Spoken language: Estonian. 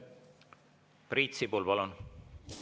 Priit Sibul, palun!